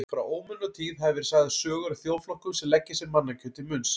Frá ómunatíð hafa verið sagðar sögur af þjóðflokkum sem leggja sér mannakjöt til munns.